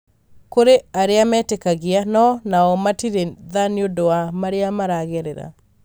kũrĩ aria meĩtĩkagia no nao matire tha nĩũndũ wa maria maragerera.